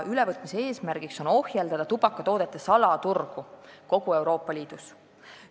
Ülevõtmise eesmärk on ohjeldada tubakatoodete salaturgu kogu Euroopa Liidus.